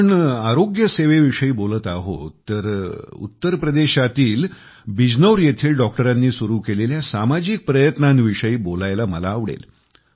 आपण आरोग्य सेवेविषयी बोलत आहोत तर उत्तर प्रदेशातील बिजनौर येथील डॉक्टरांनी सुरु केलेल्या सामाजिक प्रयत्नांविषयी वोलायला मला आवडेल